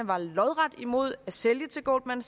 var lodret imod at sælge til goldman